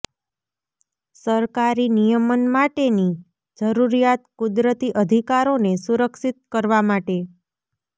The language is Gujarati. સરકારી નિયમન માટેની જરૂરિયાત કુદરતી અધિકારોને સુરક્ષિત કરવા માટે